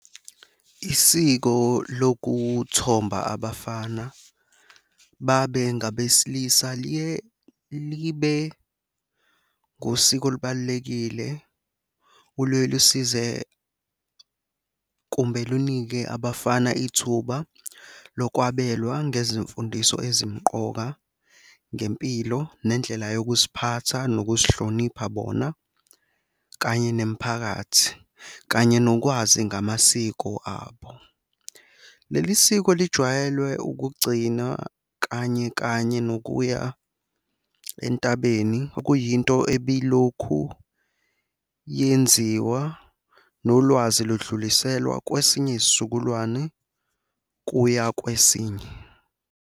Isiko lokuthomba abafana babe ngabesilisa liye libe ngosiko olubalulekile oluyeke lusize, kumbe lunike abafana ithuba lokwabelwa ngezimfundiso ezimqoka ngempilo nendlela yokuziphatha nokuzihlonipha bona, kanye nemiphakathi, kanye nokwazi ngamasiko abo. Leli siko lijwayelwe ukugcinwa kanye kanye nokuya entabeni okuyinto ebilokhu yenziwa, nolwazi ludluliselwa kwesinye isizukulwane kuya kwesinye.